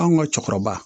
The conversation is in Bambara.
Anw ka cɛkɔrɔba